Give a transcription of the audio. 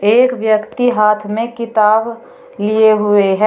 एक व्यक्ति हाथ में किताब लिए हुए हैं।